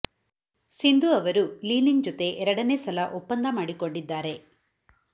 ಸಿಂಧು ಅವರು Li Ning ಜೊತೆ ಎರಡನೇ ಸಲ ಒಪ್ಪಂದ ಮಾಡಿಕೊಂಡಿದ್ದಾರೆ